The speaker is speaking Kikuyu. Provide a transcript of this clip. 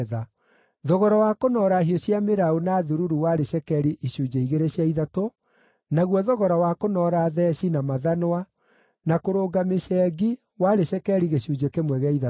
Thogora wa kũnoora hiũ cia mĩraũ na thururu warĩ cekeri icunjĩ igĩrĩ cia ithatũ, naguo thogora wa kũnoora theeci, na mathanwa, na kũrũnga mĩcengi warĩ cekeri gĩcunjĩ kĩmwe gĩa ithatũ.